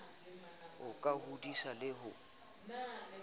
ho ka hodisa le ho